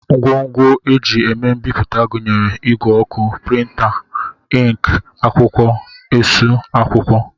Ngwongwo e ji eme mbipụta gụnyere ìgwè ọkụ, prịnta, ịnkị, akwụkwọ, esu akwụkwọ